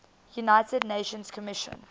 united nations commission